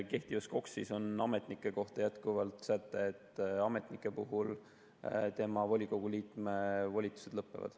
Kehtivas KOKS‑is on ametnike kohta jätkuvalt säte, et ametniku volikogu liikme volitused lõppevad.